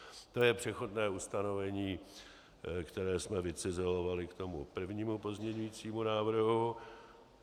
To je přechodné ustanovení, které jsme vycizelovali k tomu prvnímu pozměňovacímu návrhu.